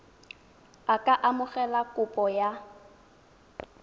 a ka amogela kopo ya